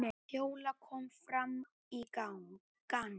Fjóla kom fram í gang.